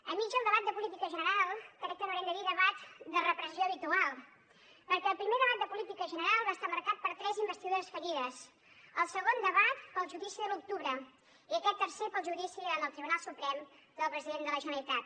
enmig del debat de política general crec que n’haurem de dir debat de repressió habitual perquè el primer debat de política general va estar marcat per tres investidures fallides el segon debat pel judici de l’octubre i aquest tercer pel judici en el tribunal suprem del president de la generalitat